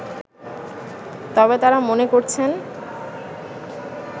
তবে তারা মনে করছেন